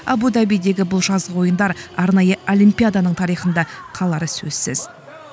абу дабидегі бұл жазғы ойындар арнайы олимпиаданың тарихында қалары сөзсіз